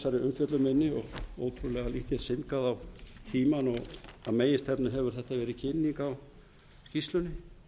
umfjöllun minni og ótrúlega lítið syndgað á tímann og að meginstefnu hefur þetta verið kynning á skýrslunni